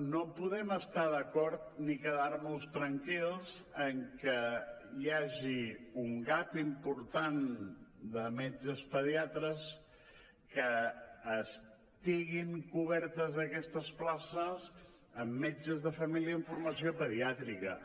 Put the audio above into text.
no podem estar d’acord ni quedar nos tranquils en que hi hagi un gap important de metges pediatres que estiguin cobertes aquestes places amb metges de família amb formació pediàtrica